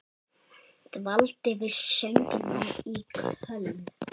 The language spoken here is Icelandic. Dvaldi við söngnám í Köln.